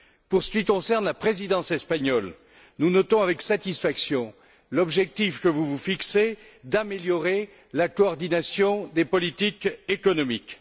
En ce qui concerne la Présidence espagnole, nous notons avec satisfaction l'objectif que vous vous fixez d'améliorer la coordination des politiques économiques.